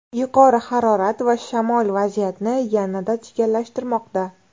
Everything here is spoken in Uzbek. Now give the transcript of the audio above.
Yuqori harorat va shamol vaziyatni yanada chigallashtirmoqda.